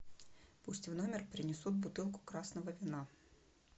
пусть в номер принесут бутылку красного вина